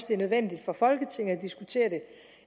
det er nødvendigt for folketinget at diskutere det